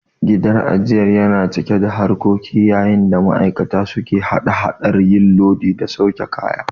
Gidan ajiyar yana cike da harkoki yayin da ma'aikata suke hada hadar yin lodi da sauke kaya.